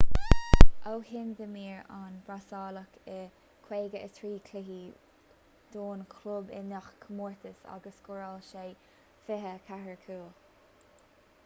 ó shin d'imir an brasaíleach i 53 cluiche don chlub i ngach comórtas agus scóráil sé 24 cúl